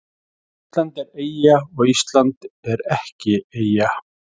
Ísland er eyja og Ísland er ekki eyja